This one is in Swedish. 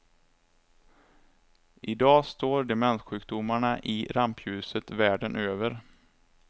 Idag står demenssjukdomarna i rampljuset världen över.